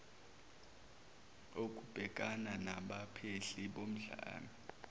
okubhekana nabaphehli bodlame